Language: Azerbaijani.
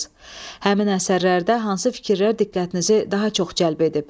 Həmin əsərlərdə hansı fikirlər diqqətinizi daha çox cəlb edib?